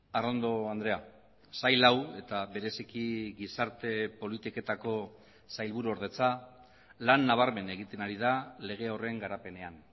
arrondo andrea sail hau eta bereziki gizarte politiketako sailburuordetza lan nabarmen egiten ari da lege horren garapenean